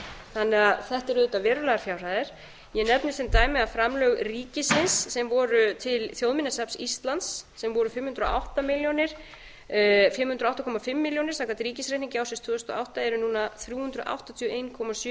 þannig að þetta eru auvðtaið verulegar fjárhæðir ég nefni sem dæmi að framlög ríkisins sem voru til þjóðminjasafns íslands sem voru fimm hundruð og átta komma fimm milljónir samkvæmt ríkisreikningi ársins tvö þúsund og átta eru núna þrjú hundruð áttatíu og einn komma sjö